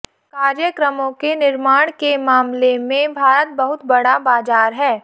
कार्यक्रमों के निर्माण के मामले में भारत बहुत बड़ा बाजार है